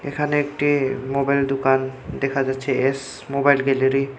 এখানে একটি মোবাইল দুকান দেখা যাচ্ছে এস মোবাইল গ্যালারি ।